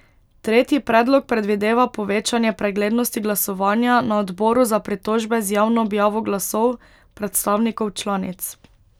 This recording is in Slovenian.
Tretji predlog predvideva povečanje preglednosti glasovanja na odboru za pritožbe z javno objavo glasov predstavnikov članic.